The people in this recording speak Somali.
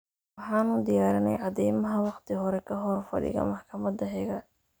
Waxaanu diyaarinay cadaymaha wakhti hore ka hor fadhiga maxkamada xiga.